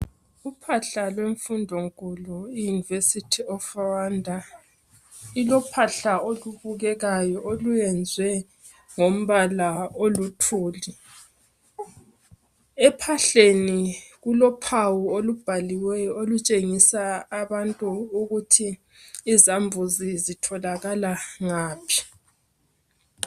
Uphahla lwemfundo nkulu iyunivesithi of Rwanda ilophahla olubukekayo oluyenzwe ngombala oluthuli. Ephahleni kulophawu olubhaliweyo olutshengisa abantu ukuthi izambuzi zitholakala ngaphi.